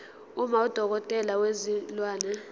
uma udokotela wezilwane